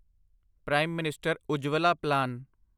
prime minister Ujjwala plan